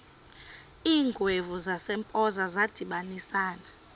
iingwevu zasempoza zadibanisana